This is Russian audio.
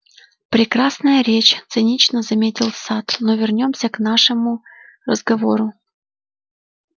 прекрасная речь цинично заметил сатт но вернёмся к нашему разговору